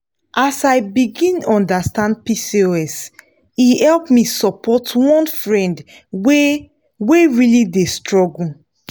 as i begin understand pcos e help me support one friend wey wey really dey struggle.